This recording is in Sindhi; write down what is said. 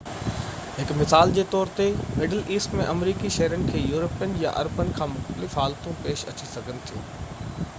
هڪ مثال جي طور تي مڊل ايسٽ ۾ آمريڪي شهرين کي يورپين يا عربن کان مختلف حالتون پيش اچي سگهن ٿيون